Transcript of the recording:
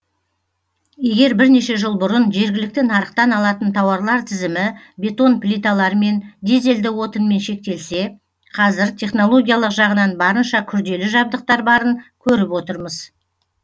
егер бірнеше жыл бұрын жергілікті нарықтан алатын тауарлар тізімі бетон плиталармен дизельді отынмен шектелсе қазір технологиялық жағынан барынша күрделі жабдықтар барын көріп отырмыз